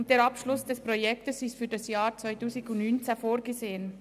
Der Abschluss des Projekts ist für das Jahr 2019 vorgesehen.